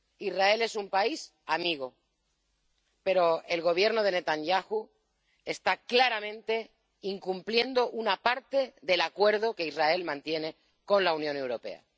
Israel es un país amigo, pero el Gobierno de Netanyahu está claramente incumpliendo una parte del Acuerdo que Israel mantiene con la Unión Europea.